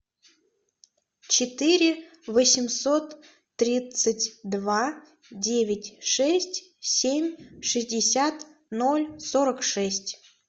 четыре восемьсот тридцать два девять шесть семь шестьдесят ноль сорок шесть